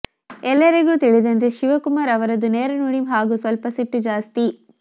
ಎಲ್ಲರಿಗೂ ತಿಳಿದಂತೆ ಶಿವಕುಮಾರ್ ಅವರದ್ದು ನೇರ ನುಡಿ ಹಾಗೂ ಸ್ವಲ್ಪ ಸಿಟ್ಟು ಜಾಸ್ತಿ